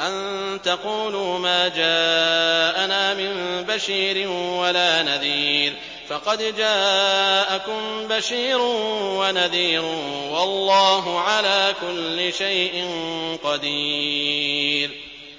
أَن تَقُولُوا مَا جَاءَنَا مِن بَشِيرٍ وَلَا نَذِيرٍ ۖ فَقَدْ جَاءَكُم بَشِيرٌ وَنَذِيرٌ ۗ وَاللَّهُ عَلَىٰ كُلِّ شَيْءٍ قَدِيرٌ